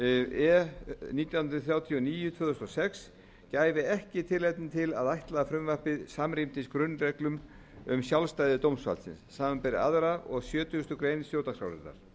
e nítján hundruð þrjátíu og níu tvö þúsund og sex gæfi ekki tilefni til að ætla að frumvarpið samrýmdist grunnreglum um sjálfstæði dómsvaldsins samanber aðra og sjötugasta grein stjórnarskrárinnar